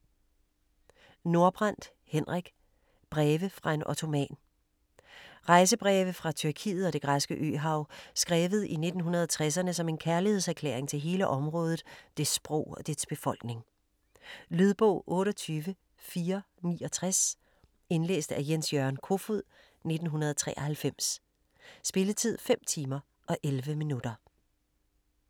Nordbrandt, Henrik: Breve fra en ottoman Rejsebreve fra Tyrkiet og det græske øhav skrevet i 1960'erne som en kærlighedserklæring til hele området, dets sprog og dets befolkning. Lydbog 28469 Indlæst af Jens-Jørgen Kofod, 1993. Spilletid: 5 timer, 11 minutter.